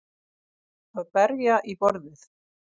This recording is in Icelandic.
Að berja í borðið